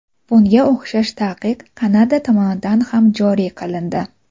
Bunga o‘xshash taqiq Kanada tomonidan ham joriy qilindi.